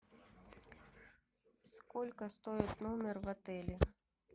сколько стоит номер в отеле